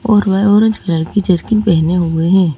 और वह orange colour की जर्किन पहने हुए है।